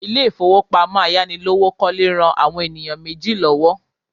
Ilé ìfowópamọ́ ayánilówókọ́lé ran àwọn ènìyàn méjì lọ́wọ́